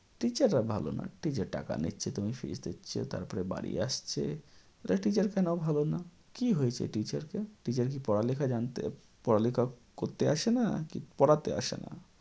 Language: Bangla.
teacher রা ভালো না। teacher টাকা নিচ্ছে তুমি fees দিচ্ছ তারপরে বাড়ি আসছে। তাহলে teacher কেন ভালো না? কী হয়েছে teacher কে? teacher কি পড়ালেখা জানতে পড়ালেখা করতে আসেনা নাকি পড়াতে আসেনা?